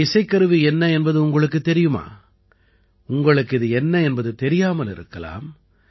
இந்த இசைக்கருவி என்ன என்பது உங்களுக்குத் தெரியுமா உங்களுக்கு இது என்ன என்பது தெரியாமல் இருக்கலாம்